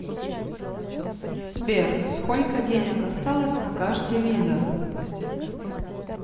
сбер сколько денег осталось на карте виза